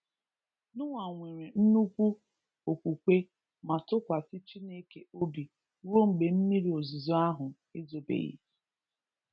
Noah nwere nnukwu okwukwe ma tụkwasị Chineke obi rue mgbe mmiri ozizo ahu ezobeghi